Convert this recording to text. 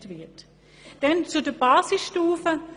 Ich komme zur Basisstufe.